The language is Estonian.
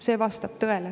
See vastab tõele.